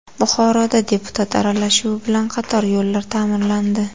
Buxoroda deputat aralashuvi bilan qator yo‘llar ta’mirlandi.